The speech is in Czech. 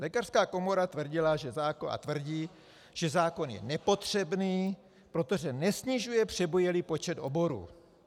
Lékařská komora tvrdila a tvrdí, že zákon je nepotřebný, protože nesnižuje přebujelý počet oborů.